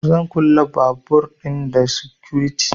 Zan kulle babur ɗin da sikuriti